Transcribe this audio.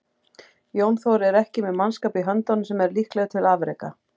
Jón Þór er ekki með mannskap í höndunum sem er líklegur til afreka.